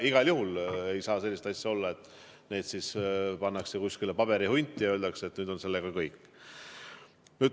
Igal juhul ei saa sellist asja olla, et need pannakse kuskile paberihunti ja öeldakse, et nüüd on sellega kõik.